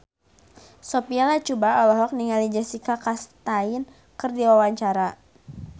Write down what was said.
Sophia Latjuba olohok ningali Jessica Chastain keur diwawancara